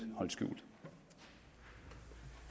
det